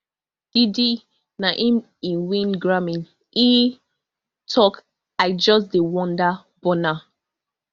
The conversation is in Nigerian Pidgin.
diddy na im e win grammy e tok i just dey wonder burna